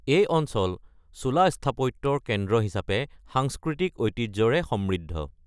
এই অঞ্চল চোলা স্থাপত্যৰ কেন্দ্ৰ হিচাপে সাংস্কৃতিক ঐতিহ্যৰে সমৃদ্ধ।